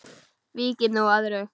Víkjum nú að öðru.